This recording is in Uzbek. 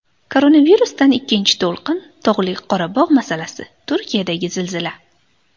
Koronavirusdan ikkinchi to‘lqin, Tog‘li Qorabog‘ masalasi, Turkiyadagi zilzila.